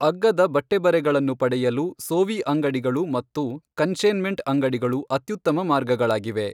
ಅಗ್ಗದ ಬಟ್ಟೆಬರೆಗಳನ್ನು ಪಡೆಯಲು ಸೋವಿ ಅಂಗಡಿಗಳು ಮತ್ತು ಕನ್ಸೈ಼ನ್ಮೆಂಟ್ ಅಂಗಡಿಗಳು ಅತ್ಯುತ್ತಮ ಮಾರ್ಗಗಳಾಗಿವೆ.